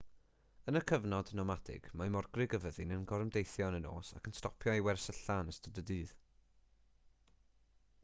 yn y cyfnod nomadig mae morgrug y fyddin yn gorymdeithio yn y nos ac yn stopio i wersylla yn ystod y dydd